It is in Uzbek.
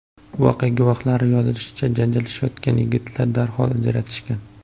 Voqea guvohlarining yozishicha janjallashayotgan yigitlarni darhol ajratishgan.